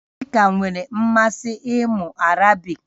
Ị ka nwere mmasị ịmụ Arabiki?